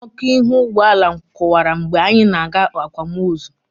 Ọkụ ihu ụgbọala m kụwara mgbe anyị na-aga akwamozu.